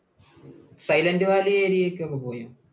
Silent Valley area യിലേക്ക് ഒക്കെ പോയോ?